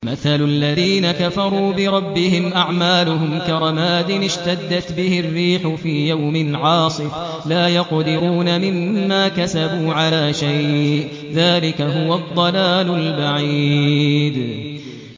مَّثَلُ الَّذِينَ كَفَرُوا بِرَبِّهِمْ ۖ أَعْمَالُهُمْ كَرَمَادٍ اشْتَدَّتْ بِهِ الرِّيحُ فِي يَوْمٍ عَاصِفٍ ۖ لَّا يَقْدِرُونَ مِمَّا كَسَبُوا عَلَىٰ شَيْءٍ ۚ ذَٰلِكَ هُوَ الضَّلَالُ الْبَعِيدُ